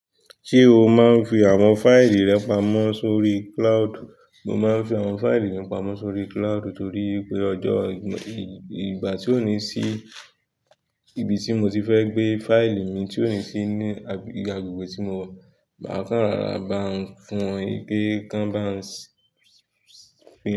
Ṣé o máa ń fi àwọn fáìlì rẹ pamọ́ sórí cloud? Mo máa ń fi àwọn fáìlì mi pamọ́ sórí cloud torí pé ọjọ́ ìgbà tí ò ní sí ibi tí mo ti fẹ́ gbé fáìlì mi tí ò ní sí ní agbègbè tí mo wà, máa kàn rọra bá n fún wọn pé kan bá ń sí.